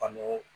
An n'o